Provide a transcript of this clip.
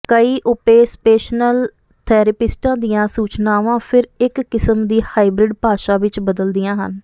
ਕਈ ਓਪੇਸਪੇਸ਼ਨਲ ਥੈਰੇਪਿਸਟਾਂ ਦੀਆਂ ਸੂਚਨਾਵਾਂ ਫਿਰ ਇਕ ਕਿਸਮ ਦੀ ਹਾਈਬ੍ਰਿਡ ਭਾਸ਼ਾ ਵਿਚ ਬਦਲਦੀਆਂ ਹਨ